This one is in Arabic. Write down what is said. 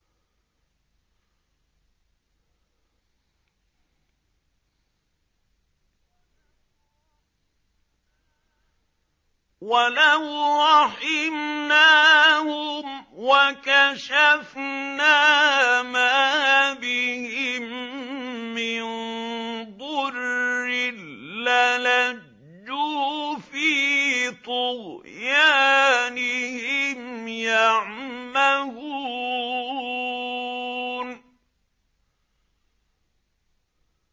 ۞ وَلَوْ رَحِمْنَاهُمْ وَكَشَفْنَا مَا بِهِم مِّن ضُرٍّ لَّلَجُّوا فِي طُغْيَانِهِمْ يَعْمَهُونَ